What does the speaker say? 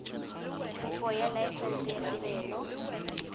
kopo ya laesense ya tirelo